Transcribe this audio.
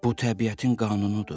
Bu təbiətin qanunudur.